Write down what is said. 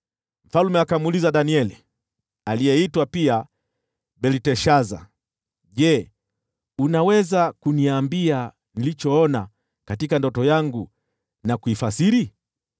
Mfalme akamuuliza Danieli (aliyeitwa pia Belteshaza), “Je, unaweza kuniambia nilichoona katika ndoto yangu na kuifasiri?”